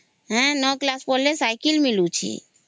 ହେଁ ନ class ପଢିଲେ ସାଇକେଲ ମିଳୁଛି